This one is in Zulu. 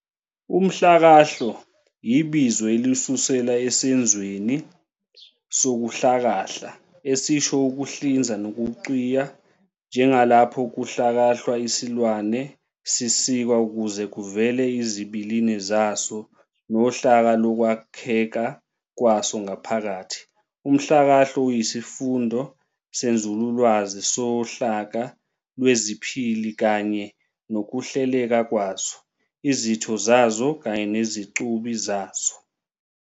Umhlakahlo, ibizo elisuselwa esenzweni "sokuhlakahla" esisho ukuhlinza nokucwiya, njengalapho kuhlakahlwa isilwane, sisikwa ukuze kuvele izibilini zaso nohlaka lokwakheka kwaso ngaphakathi. Umhlakahlo uyisifundo senzululwazi sohlaka lweziphili kanye nokuhleleka kwazo, izitho zazo kanye nezicubi zazo.